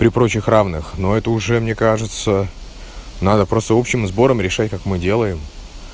при прочих равных но это уже мне кажется надо просто общим сбором решать как мы делаем